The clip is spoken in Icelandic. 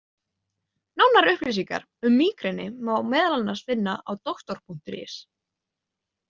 Nánari upplýsingar um mígreni má meðal annars finna á Doktor.is.